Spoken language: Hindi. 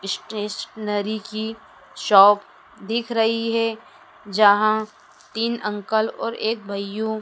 स्टेशनरी की शॉप दिख रही है जहां तीन अंकल और एक भाइयों--